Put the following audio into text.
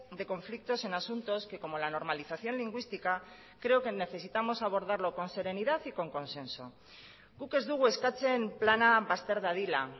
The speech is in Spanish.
de conflictos en asuntos que como la normalización lingüística creo que necesitamos abordarlo con serenidad y con consenso guk ez dugu eskatzen plana bazter dadila